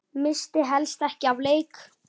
Missti helst ekki af leik.